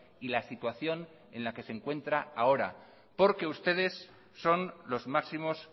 y la situación en la que se encuentra ahora porque ustedes son los máximos